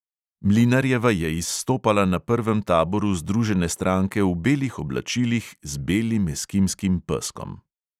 Mlinarjeva je izstopala na prvem taboru združene stranke v belih oblačilih z belim eskimskim peskom.